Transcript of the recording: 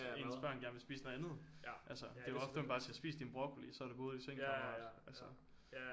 Ens børn gerne vil spise noget andet altså det er jo ofte man bare siger spis din broccoli så er det på hovedet i seng kammerat altså